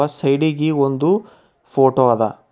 ಆ ಸೈಡ್ ಇಗಿ ಒಂದು ಫೋಟೋ ಅದ.